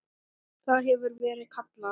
Það hefur verið kallað